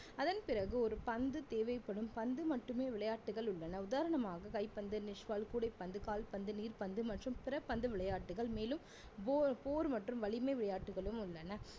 அதன் பிறகு ஒரு பந்து தேவைப்படும் பந்து மட்டுமே விளையாட்டுகள் உள்ளன உதாரணமாக கைப்பந்து கூடைப்பந்து கால்பந்து நீர்பந்து மற்றும் பிறபந்து விளையாட்டுகள் மேலும் போ~போர் மற்றும் வலிமை விளையாட்டுகளும் உள்ளன